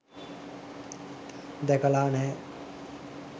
දැකලා නැහැ.